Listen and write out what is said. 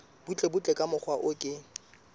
butlebutle ka mokgwa o ke